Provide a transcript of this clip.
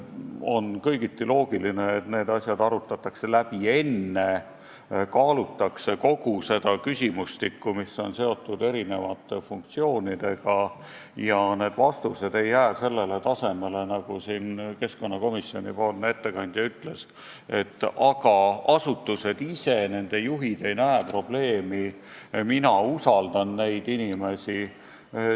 On kõigiti loogiline, et need asjad arutatakse enne läbi, kaalutakse kogu seda küsimustikku, mis on seotud eri funktsioonidega, ja vastused ei jää sellele tasemele, nagu keskkonnakomisjoni ettekandja ütles, et aga asutused ise ja nende juhid ei näe probleemi ning tema usaldab neid inimesi.